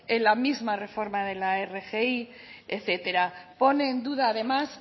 en la misma reforma de la rgi etcétera pone en duda además